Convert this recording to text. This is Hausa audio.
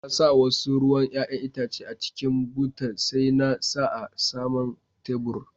Na sa wasu ruwan yayan Itace a cikin butar, sai na sa a sama'n taburin.